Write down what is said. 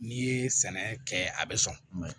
N'i ye sɛnɛ kɛ a bɛ sɔn